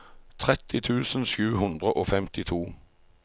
tretti tusen sju hundre og femtito